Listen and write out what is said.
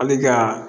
A bɛ ka